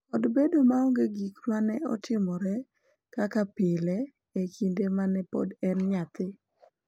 Kod bedo maonge gik ma ne otimore kaka pile e kinde ma ne pod en nyathi.